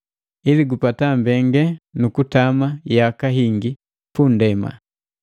“Ili gupata mbengalelu nu kutama yaka hingi punndema.”